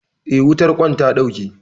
Eh, wutar ƙwan ta ɗauke.